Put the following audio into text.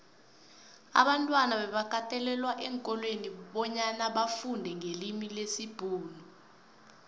abantwana bebakatelelwa eenkolweni bonyana bafundenqelimilesibhuxu